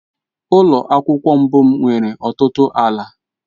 Ụlọ akwụkwọ mbụ m nwere ọtụtụ ala.